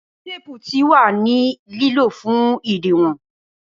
Awọn teepu ti wa ni lilo fun idiwon